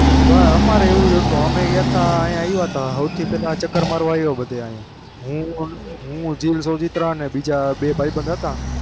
બસ અમારે એવું હતું અમે ગયા હતા અહીં આવ્યા હતા સૌથી પહેલા ચકર મારવા આવ્યા બધે અહીંયા અવેતા હું હું જીલ અને બીજા મારા બે ભાઈબંધ હતા